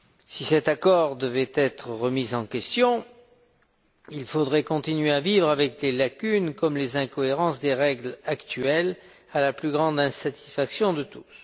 Si cet accord devait être remis en question, il faudrait continuer à vivre avec des lacunes, comme les incohérences des règles actuelles, à la plus grande insatisfaction de tous.